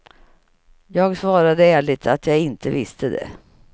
Jag svarade ärligt att jag inte visste det.